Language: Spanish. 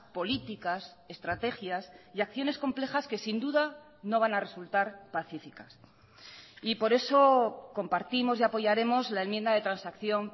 políticas estrategias y acciones complejas que sin duda no van a resultar pacíficas y por eso compartimos y apoyaremos la enmienda de transacción